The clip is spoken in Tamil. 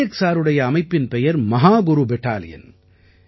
நாயக் சாருடைய அமைப்பின் பெயர் மஹாகுரு பெடாலியன்